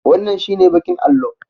Wannan shi ne baƙin allo